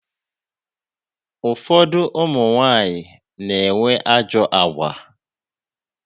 Ụfọdụ ụmụnwanyị na-enwe ajọ agwa.